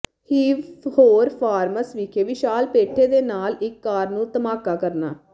ਹੀਵ ਹੌਰ ਫਾਰਮਸ ਵਿਖੇ ਵਿਸ਼ਾਲ ਪੇਠੇ ਦੇ ਨਾਲ ਇੱਕ ਕਾਰ ਨੂੰ ਧਮਾਕਾ ਕਰਨਾ